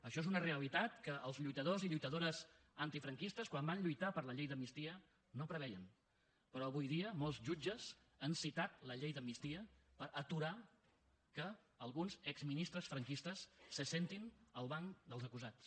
això és una realitat que els lluitadors i lluitadores antifranquistes quan van lluitar per la llei d’amnistia no preveien però avui dia molts jutges han citat la llei d’amnistia per aturar que alguns exministres franquistes s’asseguin al banc dels acusats